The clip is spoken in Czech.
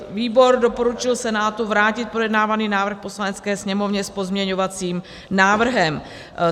Výbor doporučil Senátu vrátit projednávaný návrh Poslanecké sněmovně s pozměňovacím návrhem.